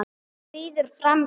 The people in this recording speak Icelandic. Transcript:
Hún skríður fram í.